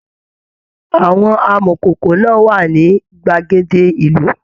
Àwọn amọkókó náà wà ní gbàgede ìlú.